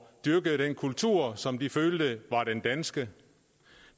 dyrke den kultur som de følte var den danske